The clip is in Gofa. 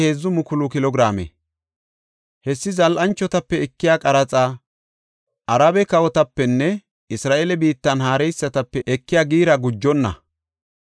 Hessi zal7anchotape ekiya qaraxa, Arabe kawotapenne Isra7eele biittan haareysatape ekiya giira gujenna.